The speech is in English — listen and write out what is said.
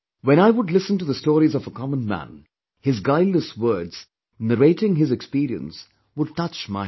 When I would listen to the stories of a common man, his guileless words narrating his experience would touch my heart